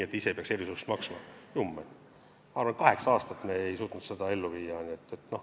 Jummel, ma arvan, et tervelt kaheksa aasta jooksul me ei suutnud seda ellu viia.